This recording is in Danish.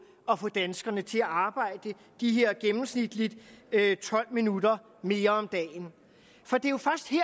at få danskerne til at arbejde de her gennemsnitligt tolv minutter mere om dagen for det